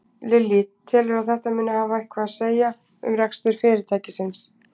Lillý: Telurðu að þetta muni hafa eitthvað að segja um rekstur fyrirtækisins?